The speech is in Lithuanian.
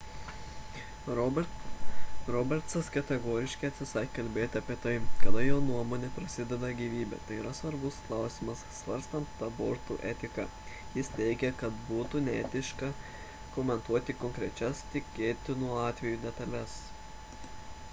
robertsas kategoriškai atsisakė kalbėti apie tai kada jo nuomone prasideda gyvybė – tai yra svarbus klausimas svarstant abortų etiką – jis teigia kad būtų neetiška komentuoti konkrečias tikėtinų atvejų detales